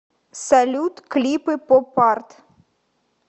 салют клипы поп арт